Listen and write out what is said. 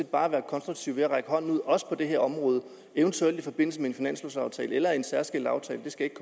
bare være konstruktive ved at række hånden ud også på det her område eventuelt i forbindelse med en finanslovaftale eller en særskilt aftale det skal ikke